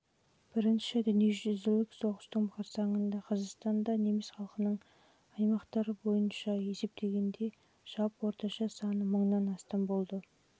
бірінші дүниежүзілік соғыстың қарсаңында қазақстанда неміс халқының аймақтар бойынша есептегендегі жалпы орташа саны мыңнан астам болды